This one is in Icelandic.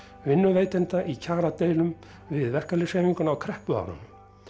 vinnuveitenda í kjaradeilum við verkalýðshreyfinguna á kreppuárunum